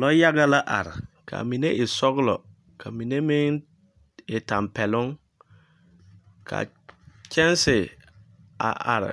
Lɔyaga la are kaa mine e sɔglɔ, kaa mine meŋ e tampɛloŋ. Ka kyanse a are